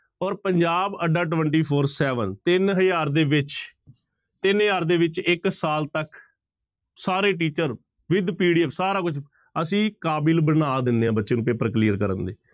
ਔਰ ਪੰਜਾਬ ਅੱਡਾ twenty four seven ਤਿੰਨ ਹਜ਼ਾਰ ਦੇ ਵਿੱਚ, ਤਿੰਨ ਹਜ਼ਾਰ ਦੇ ਵਿੱਚ ਇੱਕ ਸਾਲ ਤੱਕ, ਸਾਰੇ teacher with PDF ਸਾਰਾ ਕੁੱਝ, ਅਸੀਂ ਕਾਬਿਲ ਬਣਾ ਦਿੰਦੇ ਹਾਂ ਬੱਚੇ ਨੂੰ ਪੇਪਰ clear ਕਰਨ ਦੇ।